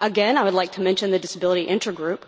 Again, I would like to mention the Disability Intergroup,